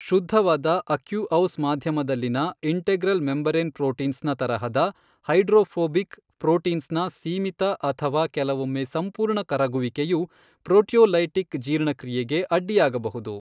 ಶುದ್ಧವಾದ ಅಕ್ಯುಔಸ್ ಮಾಧ್ಯಮದಲ್ಲಿನ integral membrane proteins ನ ತರಹದ ಹೈಡ್ರೋಫೋಬಿಕ್ ಪ್ರೋಟೀನ್ಸ್ ನ ಸೀಮಿತ ಅಥವಾ ಕೆಲವೊಮ್ಮೆ ಸಂಪೂರ್ಣ ಕರಗುವಿಕೆಯು ಪ್ರೋಟಿಯೋಲೈಟಿಕ್ ಜೀರ್ಣಕ್ರಿಯೆಗೆ ಅಡ್ಡಿಯಾಗಬಹುದು.